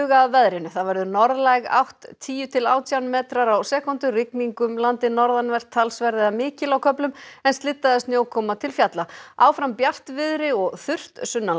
að veðri það verður norðlæg átt tíu til átján metrar á sekúndu rigning um landið norðanvert talsverð eða mikil á köflum en slydda eða snjókoma til fjalla áfram bjartviðri og þurrt